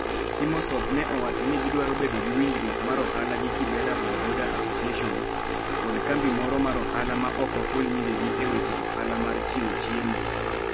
Kimosop ne owacho ni gidwaro bedo gi winjruok mar ohala gi Kibera Bodaboda Association kod kambi moro mar ohala ma ok ohul nyingegi e weche ohala mar chiwo chiemo.